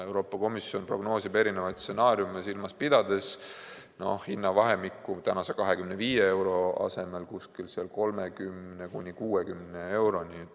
Euroopa Komisjon prognoosib erinevaid stsenaariume silmas pidades kasvu tänaselt 25 eurolt kuskil 30–60 euroni.